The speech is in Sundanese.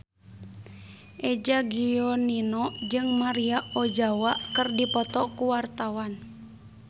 Eza Gionino jeung Maria Ozawa keur dipoto ku wartawan